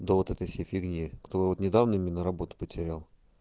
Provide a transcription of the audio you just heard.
да вот этой всей фигни кто вот недавно именно работу потерял